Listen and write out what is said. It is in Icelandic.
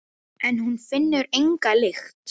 En hún finnur enga lykt.